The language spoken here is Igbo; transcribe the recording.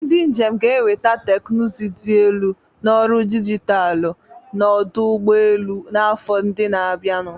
Ndị njem ga-enweta teknụzụ dị elu na ọrụ dijitalụ na ọdụ ụgbọ elu n'afọ ndị na-abịanụ.